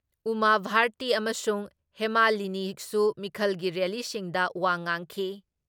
ꯎꯃꯥ ꯚꯥꯔꯇꯤ ꯑꯃꯁꯨꯡ ꯍꯦꯃꯥꯂꯤꯅꯤꯁꯨ ꯃꯤꯈꯜꯒꯤ ꯔꯦꯜꯂꯤꯁꯤꯡꯗ ꯋꯥ ꯉꯥꯡꯈꯤ ꯫